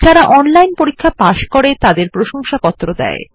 যারা অনলাইন পরীক্ষা পাস করে তাদের প্রশংসাপত্র দেয়